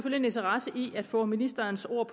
en interesse i at få ministerens ord